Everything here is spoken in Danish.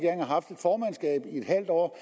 formandskabet i en halv år